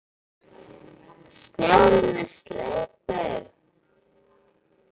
Snjórinn er sleipur!